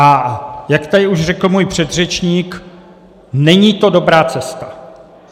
A jak tady už řekl můj předřečník, není to dobrá cesta.